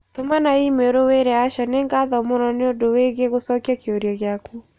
tũmana i-mīrū wĩĩre Asha nĩ ngatho mũno nĩ ũndũ wĩĩgiĩ gũcokia kĩũria gĩaku.